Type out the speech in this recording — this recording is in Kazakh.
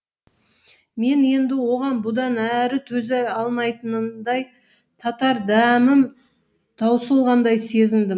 мен енді оған бұдан әрі төзе алмайтындай татар дәмім таусылғандай сезіндім